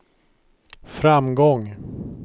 framgång